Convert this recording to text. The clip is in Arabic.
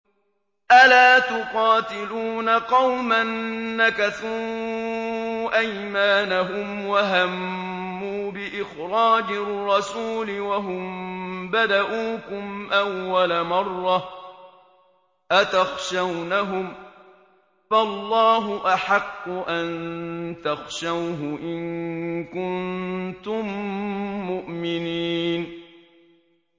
أَلَا تُقَاتِلُونَ قَوْمًا نَّكَثُوا أَيْمَانَهُمْ وَهَمُّوا بِإِخْرَاجِ الرَّسُولِ وَهُم بَدَءُوكُمْ أَوَّلَ مَرَّةٍ ۚ أَتَخْشَوْنَهُمْ ۚ فَاللَّهُ أَحَقُّ أَن تَخْشَوْهُ إِن كُنتُم مُّؤْمِنِينَ